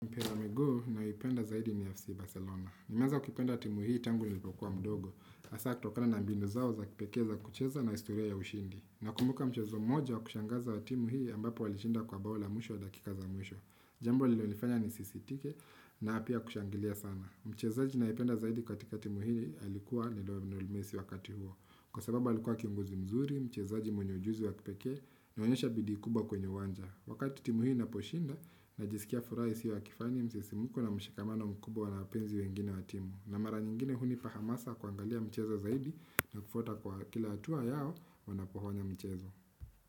Mpira wa miguu naipenda zaidi ni FC Barcelona. Nimeanza kupenda timu hii tangu nilipokuwa mdogo. Asa kutokana na mbinu zao za kipekee za kucheza na historia ya ushindi. Nakumbuka mchezo mmoja wa kushangaza wa timu hii ambapo walishinda kwa baula mwisho wa dakika za mwisho. Jambo lilonifanya ni CCTV na pia kushangilia sana. Mchezaji nayependa zaidi katika timu hii alikuwa ni lionnel messi wakati huo. Kwa sababa alikuwa kionguzi mzuri, mchezaji mwenye ujuzi wa kipeke, nionyesha bidii kubwa kwenye uwanja. Wakati timu hi inaposhinda, najisikia furaha isio ya kifani msisimuko na mshikamano mkubwa wanapenzi wengine wa timu. Na mara nyingine hunipa hamasa kuangalia michezo zaidi na kufuata kwa kila hatua yao wanapohonya mchezo.